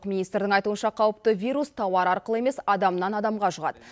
министрдің айтуынша қауіпті вирус тауар арқылы емес адамнан адамға жұғады